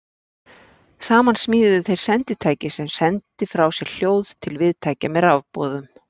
Saman smíðuðu þeir senditæki sem sendi frá sér hljóð til viðtækja með rafboðum.